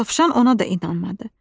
Dovşan ona da inanmadı.